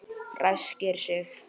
Ræskir sig.